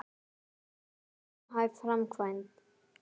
En er þetta raunhæf framkvæmd?